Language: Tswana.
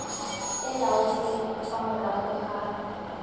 e laotsweng fa morago ga